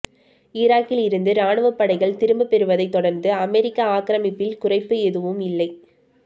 ஈராக்கில் இருந்து இராணுவப் படைகள் திரும்பப் பெறுவதைத் தொடர்ந்து அமெரிக்க ஆக்கிரமிப்பில் குறைப்பு ஏதும் இல்லை